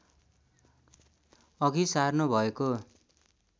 अघि सार्नु भएको